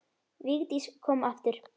Vigdís kom aftur.